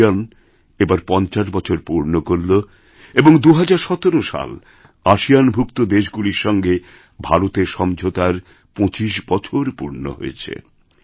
ASEAN এবার পঞ্চাশ বছর পূর্ণ করল এবং ২০১৭ সালআসিয়ানভুক্ত দেশগুলির সঙ্গে ভারতের সমঝোতার ২৫ বছর পূর্ণ হয়েছে